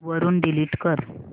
वरून डिलीट कर